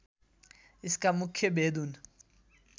यसका मुख्य भेद हुन्